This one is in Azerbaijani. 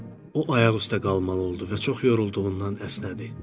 O ayaq üstə qalmalı oldu və çox yorulduğundan əsnədi.